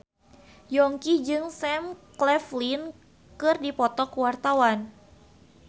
Yongki jeung Sam Claflin keur dipoto ku wartawan